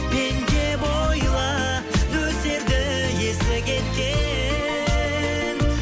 мен деп ойла нөсерді есі кеткен